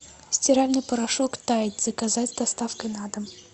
стиральный порошок тайд заказать с доставкой на дом